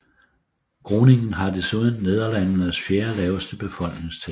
Groningen har desuden Nederlandenes fjerde laveste befolkningstæthed